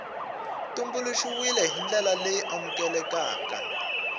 tumbuluxiwile hi ndlela leyi amukelekaka